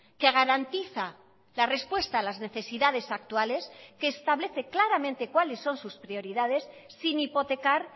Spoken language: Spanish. que garantiza la respuesta a las necesidades actuales que establece claramente cuáles son sus prioridades sin hipotecar